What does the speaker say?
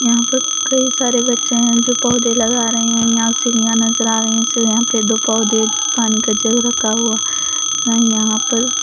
यहाँ पर कई सारे बच्चे हैं जो पौधे लगा रहे हैं यहाँ सीढ़ियाँ नजर आ रही हैं सीढ़ियाँ पे दो पौधे पानी का जग रखा हुआ यहाँ पर।